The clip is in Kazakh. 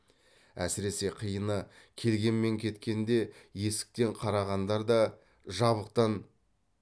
әсіресе қиыны келген мен кеткен де есіктен қарағандар да жабықтан